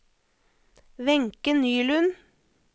Wenche Nylund